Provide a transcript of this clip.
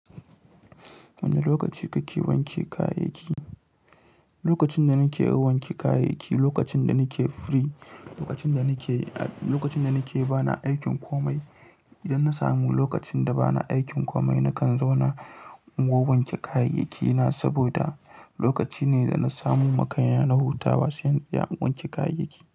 Wane lokaci kake wanke kayayyaki? Lokacin da nake wanke kayayyaki, lokacin da nake free, lokacin da nake, lokacin da nake ba na aikin komai. Idan na samu lokacin da ba na aikin komai, nakan zauna in wanke kayayyaki na saboda lokaci ne da na samu makayi na huta ba sai in iya wanke kayayyaki.